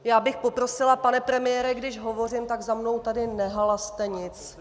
Já bych poprosila, pane premiére, když hovořím, tak za mnou tady nehalaste nic.